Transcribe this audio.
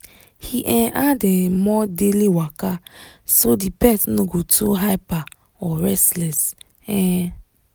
he um add um more daily waka so the pet no go too hyper or restless. um